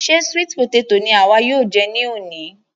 Ṣe sweet potato ni àwa yóò jẹ ní òní?